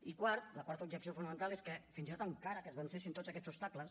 i quart la quarta objecció fonamental és que fins i tot encara que es vencessin tots aquests obstacles